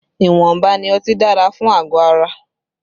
Ìwọ̀nba ni ọtí dára fún àgọ̀ ara